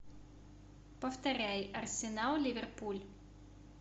повторяй арсенал ливерпуль